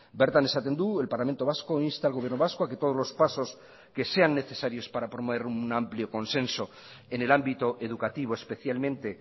bertan esaten du el parlamento vasco insta al gobierno vasco a que todos los pasos que sean necesarios para promover un amplio consenso en el ámbito educativo especialmente